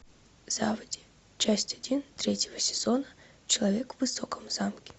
заводи часть один третьего сезона человек в высоком замке